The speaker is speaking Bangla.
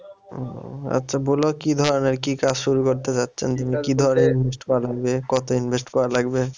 ও আচ্ছা বলো কি ধরনের কি কাজ শুরু করতে চাচ্ছেন? কি ধরনের invest করা লাগবে? কত invest করা লাগবে?